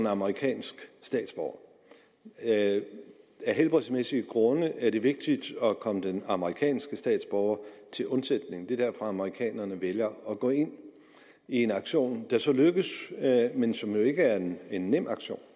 amerikansk statsborger af helbredsmæssige grunde er det vigtigt at komme den amerikanske statsborger til undsætning og det er derfor amerikanerne vælger at gå ind i en aktion der så lykkes men som ikke er en en nem aktion